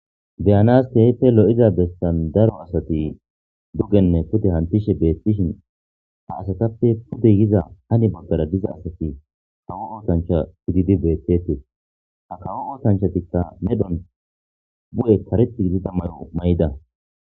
Beyanasteheppe lo7iza bestan daro asati dugenne kude hantishe beettishin ha asatappe pudeyiza hani boggara diza asati kawo ootancha pudidi beettetee ha kawo ootanchatikka medhon bu7e kareti gidida mayo may7ida